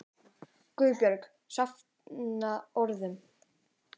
GUÐBJÖRG: Safna orðum!